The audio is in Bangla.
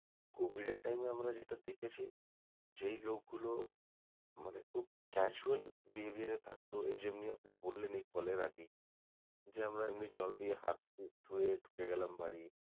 Covid এর time এ আমরা যেটা দেখেছি যেই লোক গুলো মানে খুব casual behaviour এ থাকতো এই যেমনি আপনি বললেন যে এই call এর আগেই যে আমরা এমনি জল দিয়ে হাত ধুয়ে ঢুকে গেলাম বাড়ি